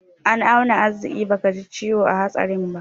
An auna arziƙi bakaji ciwo a hatsarin ba.